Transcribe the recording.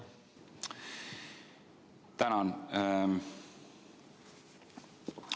Tänan!